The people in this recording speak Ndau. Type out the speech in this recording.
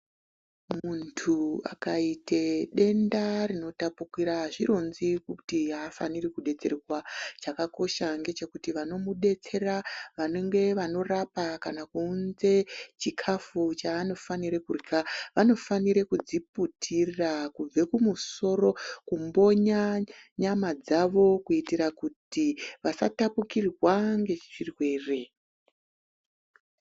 Muntu akaite denda rinotapukira azvironzi kuti afaniri kudetserwa chakakosha ngechekuti vanomudetsera vanenge vanorapa kana kuunze chikafu chaanofanire kurya vanofanire kudziputira kubve kumusoro kumbonya nyama dzavo kuitira kuti vasatapukirwa ngezvirwere.